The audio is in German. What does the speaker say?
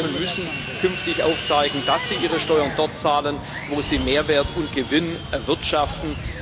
Unternehmen müssen künftig aufzeigen, dass sie ihre Steuern dort zahlen, wo sie Mehrwert und Gewinn erwirtschaften.